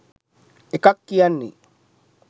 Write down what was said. එකක් කියන්නේ